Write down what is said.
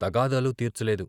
తగాదాలు తీర్చలేదు.